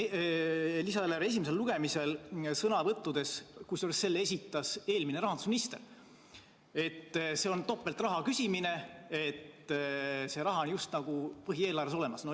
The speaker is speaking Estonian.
Lisaeelarve esimesel lugemisel kõlas sõnavõtus, kusjuures selle esitas eelmine rahandusminister, et see on topeltraha küsimine, sest see raha on just nagu põhieelarves olemas.